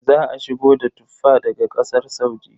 Za a shigo da Tuffa daga Ƙasar Saudi.